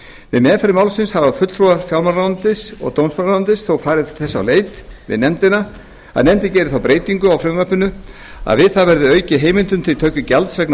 við meðferð málsins hafa fulltrúar fjármálaráðuneytis og dómsmálaráðuneytis þó farið þess á leit við nefndina að nefndin geri þá breytingu á frumvarpinu að við það verði aukið heimildum til töku gjalds vegna